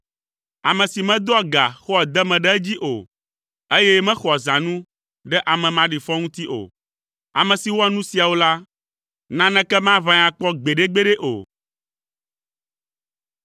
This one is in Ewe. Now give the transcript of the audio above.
ame si medoa ga xɔa deme ɖe edzi o, eye mexɔa zãnu ɖe ame maɖifɔ ŋuti o. Ame si wɔa nu siawo la, naneke maʋãe akpɔ gbeɖegbeɖe o.